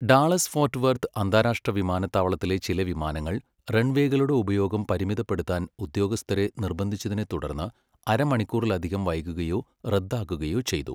Dallas Fort Worth അന്താരാഷ്ട്ര വിമാനത്താവളത്തിലെ ചില വിമാനങ്ങൾ റൺവേകളുടെ ഉപയോഗം പരിമിതപ്പെടുത്താൻ ഉദ്യോഗസ്ഥരെ നിർബന്ധിച്ചതിനെത്തുടർന്ന് അരമണിക്കൂറിലധികം വൈകുകയോ റദ്ദാക്കുകയോ ചെയ്തു.